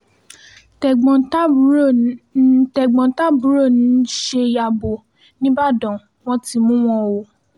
tẹ̀gbọ́n-tàbúrò ń tẹ̀gbọ́n-tàbúrò ń ṣe yàbò nìbàdàn wọn ti mú wọn o